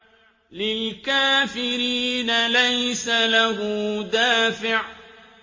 لِّلْكَافِرِينَ لَيْسَ لَهُ دَافِعٌ